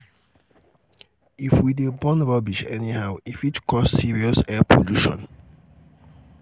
if we dey burn rubbish anyhow e fit cause serious air pollution.